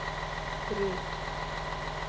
Rut